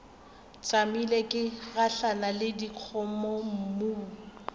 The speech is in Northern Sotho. tšamile ke gahlana le dikgomommuu